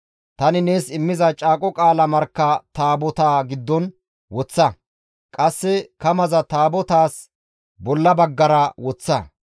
Tani nees immiza caaqo qaala markka Taabotaa giddon woththa; qasse kamaza Taabotaas bolla baggara woththa.